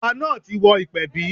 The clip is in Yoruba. Ọba náà ti wọ ìpẹ̀bí.